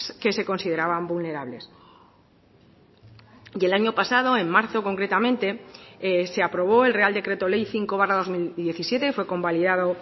que se consideraban vulnerables y el año pasado en marzo concretamente se aprobó el real decreto ley cinco barra dos mil diecisiete fue convalidado